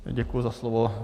Děkuji za slovo.